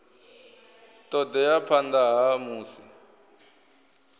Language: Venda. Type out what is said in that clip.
ṱo ḓea phanḓa ha musi